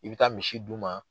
I bɛ taa misi d'u ma.